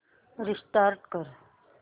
restart कर